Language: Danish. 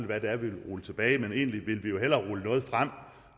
hvad det er vi vil rulle tilbage men egentlig ville vi jo hellere rulle noget frem